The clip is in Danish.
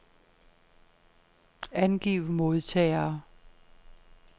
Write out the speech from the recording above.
Angiv modtagere.